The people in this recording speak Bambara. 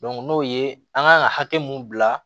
n'o ye an kan ka hakɛ mun bila